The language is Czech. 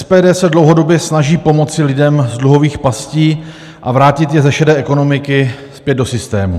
SPD se dlouhodobě snaží pomoci lidem z dluhových pastí a vrátit je ze šedé ekonomiky zpět do systému.